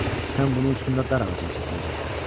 Sən bunun üstündə dar ağacına çəkiləcəksən.